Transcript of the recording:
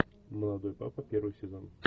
молодой папа первый сезон